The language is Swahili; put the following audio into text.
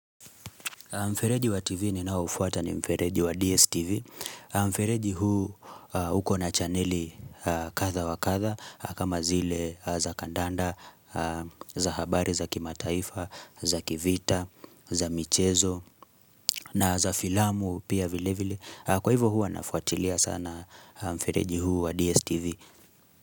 Mfereji wa TV ninaoufuata ni mfereji wa DSTV. Mfereji huu huko na chaneli kadha wa kadha kama zile za kandanda, za habari za kimataifa, za kivita, za michezo na za filamu pia vile vile. Kwa hivyo huwa nafuatilia sana mfereji huu wa DSTV.